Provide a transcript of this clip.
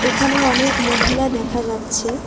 এখানে অনেক মহিলা দেখা যাচ্ছে।